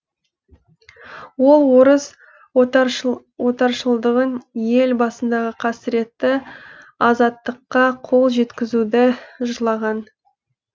ол орыс отаршылдығын ел басындағы қасіретті азаттыққа қол жеткізуді жырлаған